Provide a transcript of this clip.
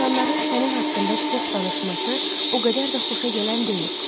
İnsanların sənin haqqında çox danışması o qədər də xoşagələn deyil.